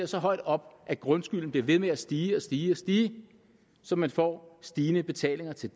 så højt op at grundskylden bliver ved med at stige og stige stige så man får stigende betalinger til